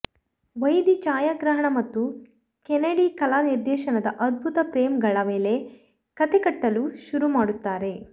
ವೈದಿ ಛಾಯಾಗ್ರಹಣ ಮತ್ತು ಕೆನೆಡಿ ಕಲಾ ನಿರ್ದೇಶನದ ಅದ್ಭುತ ಫ್ರೇಮ್ಗಳ ಮೇಲೆ ಕತೆ ಕಟ್ಟಲು ಶುರು ಮಾಡುತ್ತಾರೆ